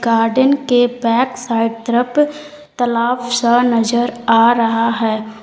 Garden के back side तरफ तालाब सा नजर आ रहा है।